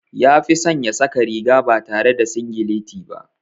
Ya fi son ya saka riga ba tare da singileti ba.